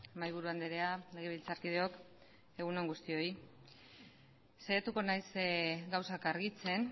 mahaiburu andrea legebiltzarkideok egun on guztioi saiatuko naiz gauzak argitzen